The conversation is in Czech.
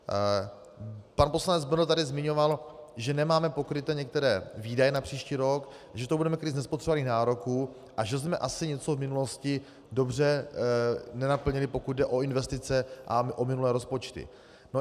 Pan poslanec Bendl tady zmiňoval, že nemáme pokryté některé výdaje na příští rok, že to budeme krýt z nespotřebovaných nároků a že jsme asi něco v minulosti dobře nenaplnili, pokud jde o investice a o minulé rozpočty.